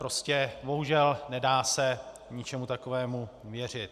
Prostě bohužel, nedá se ničemu takovému věřit.